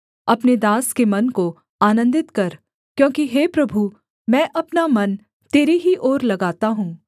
अपने दास के मन को आनन्दित कर क्योंकि हे प्रभु मैं अपना मन तेरी ही ओर लगाता हूँ